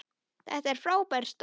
Þetta er frábær stóll.